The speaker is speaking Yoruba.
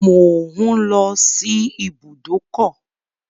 Mò ń lọ sí ibùdókọ̀.